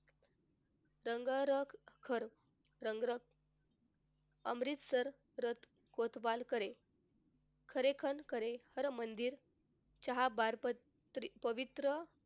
संगरखर संग्रहक अमृतसर रथ कोतवालकडे हरमंदिर च्याबाबत पवित्र,